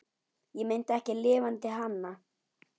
Ég meinti ekki LIFANDI HANA.